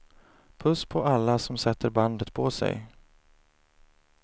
Puss på alla som sätter bandet på sig.